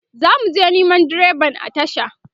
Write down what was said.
zamuje Neman direban a tasha